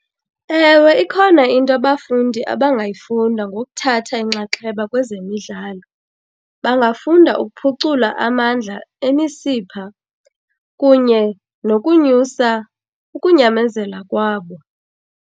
Ewe, ikhona into abafundi abangayifunda ngokuthatha inxaxheba kwezemidlalo. Bangafunda ukuphucula amandla emisipha kunye nokunyusa ukunyamezela kwabo.